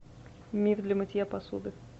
миф для мытья посуды